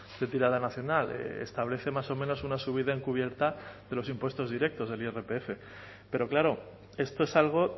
de tirada nacional establece más o menos una subida encubierta de los impuestos directos del irpf pero claro esto es algo